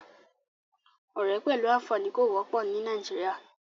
Ọ̀rẹ́ pẹ̀lú àfààní kò wọ́pọ̀ ní Nàìjíríà.